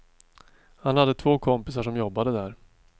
Han hade två kompisar som jobbade där.